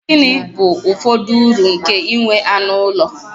Gịnị bụ ụfọdụ uru nke inwe anụ ụlọ?